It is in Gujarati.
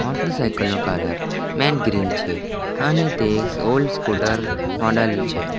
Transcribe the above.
મોટરસાયકલ નો કલર મેઇન ગ્રીન છે અને તે એક ઓલ્ડ સ્કૂટર મોડલ છે.